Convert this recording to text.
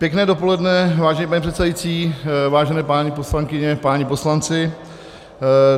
Pěkné dopoledne, vážený pane předsedající, vážené paní poslankyně, páni poslanci.